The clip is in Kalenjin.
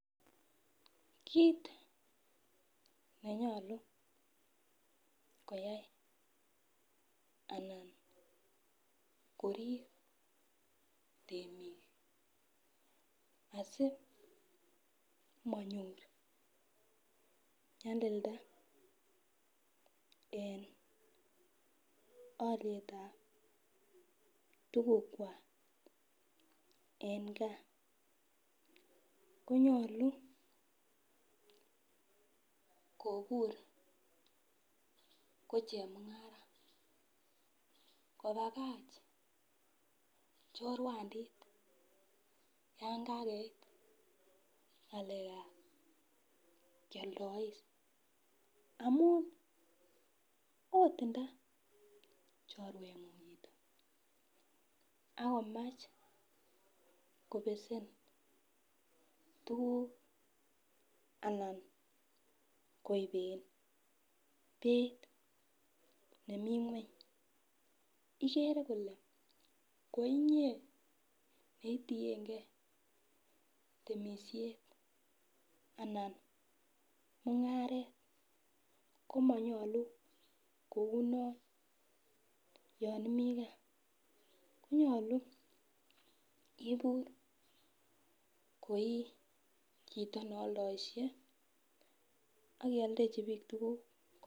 Kit nenyolu koyai anan korip temik asimanyor nyalilda en alyetab tugukwak en gaa konyolu kobur ko chemung'ara, kopakach choruandit yan kakeit ng'alekab kyoldois ,amun oot nda choruengung akomach kobesen tuguk alan koiben beit nemi kweny ikere kole ko inyee neitienge temisiet anan mung'aret komonyolu kou non yon imii gaa konyolu ibur koi chito nealdoishe akialdechi biik tuguk.